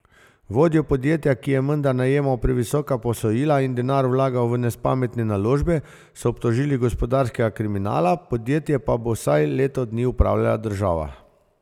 Vodjo podjetja, ki je menda najemal previsoka posojila in denar vlagal v nespametne naložbe, so obtožili gospodarskega kriminala, podjetje pa bo vsaj leto dni upravljala država.